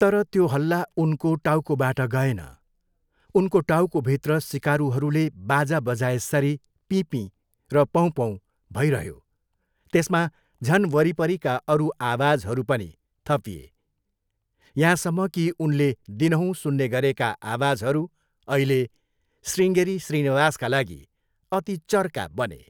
तर त्यो हल्ला उनको टाउकोबाट गएन। उनको टाउकोभित्र सिकारुहरूले बाजा बजाएसरी पिँपीँ र पोँपोँ भइरह्यो। त्यसमा झन वरिपरिका अरू आवाजहरू पनि थपिए। यहाँसम्म कि उनले दिनहुँ सुन्ने गरेका आवाजहरू अहिले शृङगेरी श्रीनिवासका लागि अति चर्का बने।